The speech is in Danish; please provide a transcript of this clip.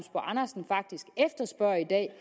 andersen faktisk efterspørger i dag er